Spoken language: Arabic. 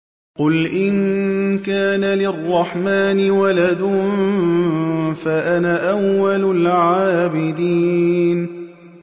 قُلْ إِن كَانَ لِلرَّحْمَٰنِ وَلَدٌ فَأَنَا أَوَّلُ الْعَابِدِينَ